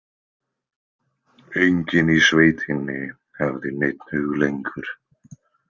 Enginn í sveitinni hafði neinn hug lengur.